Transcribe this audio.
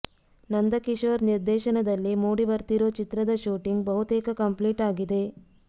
ನಂದಕಿಶೋರ್ ನಿರ್ದೇಶನದಲ್ಲಿ ಮೂಡಿ ಬರ್ತಿರೋ ಚಿತ್ರದ ಶೂಟಿಂಗ್ ಬಹುತೇಕ ಕಂಪ್ಲೀಟ್ ಆಗಿದೆ